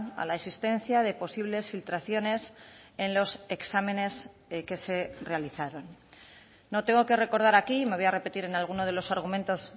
a la existencia de posibles filtraciones en los exámenes que se realizaron no tengo que recordar aquí me voy a repetir en alguno de los argumentos